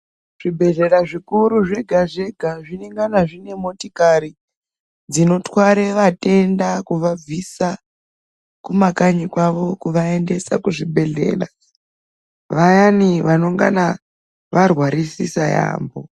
Zvibhedhlera zvikuru zvega zvega zviringana zvine motikari dzinotware vatenda kuvabvisa kumakanyi kwawo kuvaendesa kuzvibhedhlera vayani vanongana varwarisisisa yaambo.